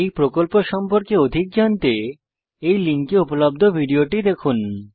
এই প্রকল্প সম্পর্কে অধিক জানতে এই লিঙ্কে উপলব্ধ ভিডিওটি দেখুন